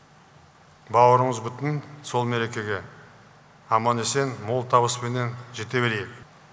бауырымыз бүтін сол мерекеге аман есен мол табыспенен жете берейік